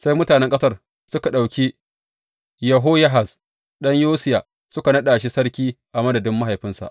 Sai mutanen ƙasar suka ɗauki Yehoyahaz ɗan Yosiya suka naɗa shi sarki a madadin mahaifinsa.